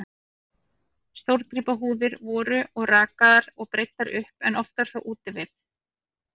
Stórgripahúðir voru og rakaðar og breiddar upp, en oftar þó úti við.